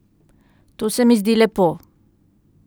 To se mi zdi lepo.